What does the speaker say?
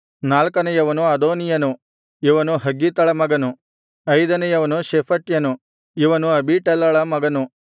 ನಾಲ್ಕನೆಯವನು ಅದೋನೀಯನು ಇವನು ಹಗ್ಗೀತಳ ಮಗನು ಐದನೆಯವನು ಶೆಫಟ್ಯನು ಇವನು ಅಬೀಟಲಳ ಮಗನು